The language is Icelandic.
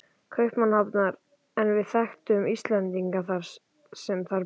Kaupmannahafnar en við þekktum Íslendinga sem þar bjuggu.